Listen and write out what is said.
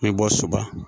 A bɛ bɔ soba